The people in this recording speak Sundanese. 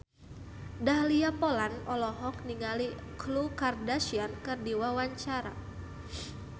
Dahlia Poland olohok ningali Khloe Kardashian keur diwawancara